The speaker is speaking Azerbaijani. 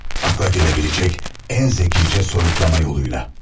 Akla gelebilecek en zekice soyutlama yoluyla.